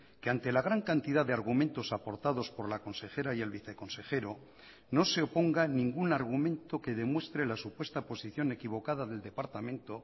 que ante la gran cantidad de argumentos aportados por la consejera y el viceconsejero no se oponga ningún argumento que demuestre la supuesta posición equivocada del departamento